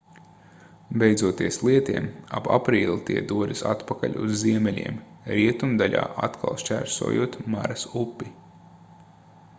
beidzoties lietiem ap aprīli tie dodas atpakaļ uz ziemeļiem rietumdaļā atkal šķērsojot maras upi